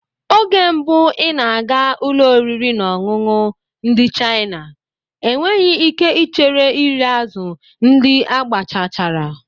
Oge mbụ ị na-aga ụlọ oriri na ọṅụṅụ ndị China, enweghị ike ichere iri azụ̀ ndị agbachachara